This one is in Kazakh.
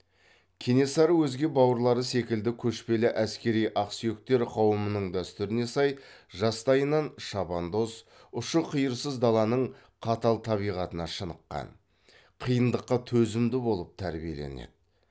кенесары өзге бауырлары секілді көшпелі әскери ақсүйектер қауымының дәстүріне сай жастайынан шабандоз ұшы қиырсыз даланың қатал табиғатына шыныққан қиындыққа төзімді болып тәрбиеленеді